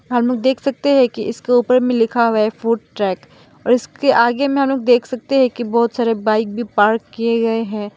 हम लोग देख सकते है की इसके ऊपर मे लिखा हुआ है फूडट्रैक और इसके आगे मे हम लोग देख सकते है की बहोत सारे बाइक भी पार्क किए गये है।